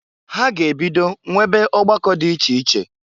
Ha ga-ebido nwebe ọgbakọ dị iche iche.